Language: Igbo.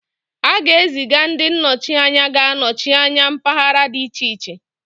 A ga-eziga ndi nọchi anya ga-anọchi anya mpaghara dị iche iche